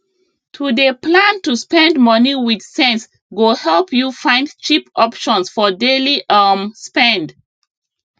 to dey plan to spend money with sense go help you find cheap options for daily um spend